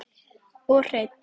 Og hreinn!